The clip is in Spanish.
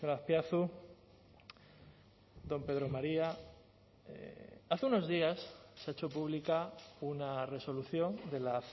azpiazu don pedro maría hace unos días se ha hecho pública una resolución de la